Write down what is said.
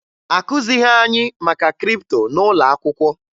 Akụzighi anyị maka kripto n'ụlọ akwụkwọ